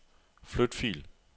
Flyt fil.